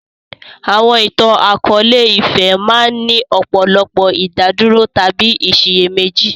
Àwọn ìtàn akọ̀ọ̀lẹ-ìfẹ́ máa ń ní ọ̀pọ̀lọpọ̀ ìdádúró tàbí ìsiyèméjì